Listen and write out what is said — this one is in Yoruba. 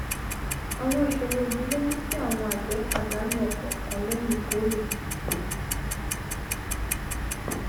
àwọn ìṣòro yìí ló mú kí àwọn àgbè pàdánù òpò nǹkan léyìn ìkórè